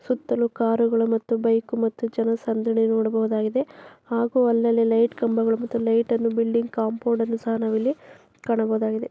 ಸುತ್ತಲೂ ಕಾರು ಮತ್ತು ಬೈಕ್ ಜನ ಸಂದಣಿ ಯನ್ನು ನೋಡಬಹುದಾಗಿದೆ ಅಲ್ಲಲ್ಲೇ ಲೈಟ್ ಕಂಬಗಳು ಬಿಲ್ಡಿಂಗ್ ಕಾಂಪೌಂಡ್ ಸಹ ನಾವು ಕಾಣಬಹುದಾಗಿದೆ .